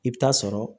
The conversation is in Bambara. I bɛ taa sɔrɔ